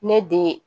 Ne den